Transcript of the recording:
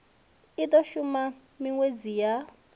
i do shuma minwedzi ya